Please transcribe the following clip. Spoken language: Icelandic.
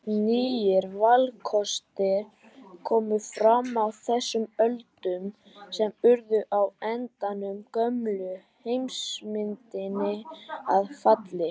Nýir valkostir komu fram á þessum öldum sem urðu á endanum gömlu heimsmyndinni að falli.